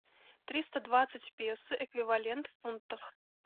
триста двадцать песо эквивалент в фунтах